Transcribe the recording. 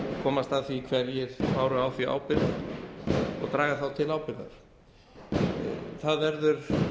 komast að því hverjir báru á því ábyrgð og draga þá til ábyrgðar það verður